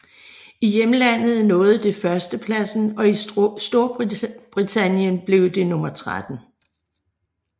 I hjemlandet nåede det førstepladsen og i Storbritannien blev det nummer 13